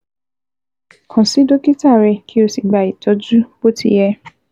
Kàn sí dókítà rẹ kí o sì gba ìtọ́jú bó ti yẹ